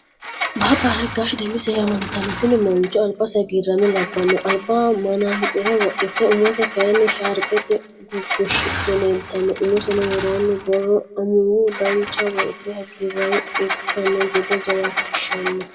Baaba aregaash demise yaamantano, tini mancho alibase haggirame labamo alibaho mana'mxire wodite umose kayini shaaribete gugushidhe leelitanno, umosenni woronni borro amuwu duucha woyite hagiiramo ikkano gede jawaachishano